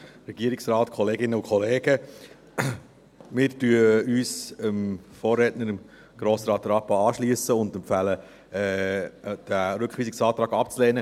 Wir schliessen uns dem Vorredner, Grossrat Rappa, an und empfehlen, den Rückweisungsantrag abzulehnen.